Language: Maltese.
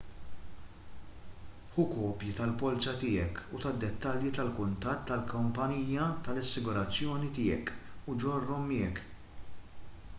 ħu kopji tal-polza tiegħek u tad-dettalji tal-kuntatt tal-kumpanija tal-assigurazzjoni tiegħek u ġorrhom miegħek